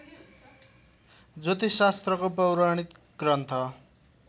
ज्योतिष शास्त्रको पौराणिक ग्रन्थ